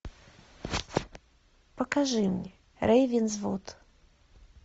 покажи мне рейвенсвуд